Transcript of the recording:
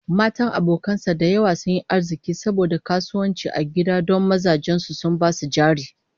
Matan abokan sa da yawa sun yi arziki saboda kasuwanci a gida don mazan su sun ba su jari